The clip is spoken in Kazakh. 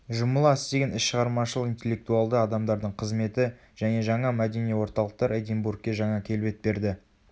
жұмыла істеген іс шығармашыл интеллектуалды адамдардың қызметі және жаңа мәдени орталықтар эдинбургке жаңа келбет берді